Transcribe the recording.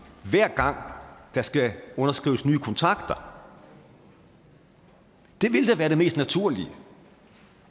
hver gang der skal underskrives nye kontrakter det ville da være det mest naturlige